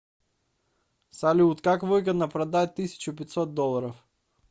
салют как выгодно продать тысячу пятьсот долларов